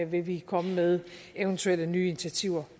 vil vi komme med eventuelle nye initiativer